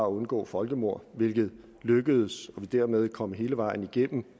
undgå folkemord hvilket lykkedes dermed kom vi hele vejen igennem